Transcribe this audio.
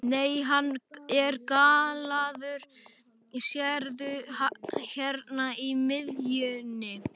Nei, hann er gallaður, sérðu hérna í miðjunni.